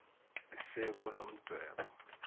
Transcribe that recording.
s esikulo mdwebo